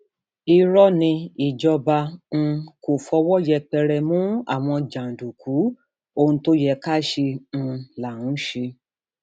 irọ ni ìjọba um kò fọwọ yẹpẹrẹ mú àwọn jàǹdùkú ohun tó yẹ ká ṣe um là ń ṣe